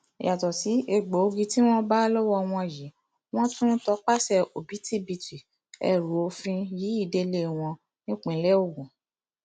yàtọ sí egbòogi tí wọn bá lọwọ wọn yìí wọn tún tọpasẹ òbítíbitì ẹrù òfin yìí délé wọn nípìnlẹ ogun